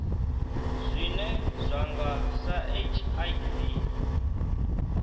zwine zwa nga sa hiv